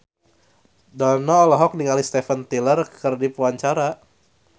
Dono olohok ningali Steven Tyler keur diwawancara